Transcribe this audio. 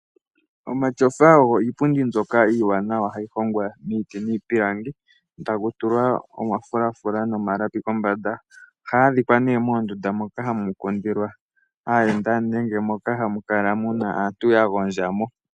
Omatyofa ogo iipundi mbyoka iiwanawa hayi hongwa miiti niipilangi e taku tulwa omafulafula nomalapi kombanda. Ohaga adhikwa ne mondunda dhoka hamu popithilwa aayenda nenge moka hamu kala mu na aantu ya gondja mo.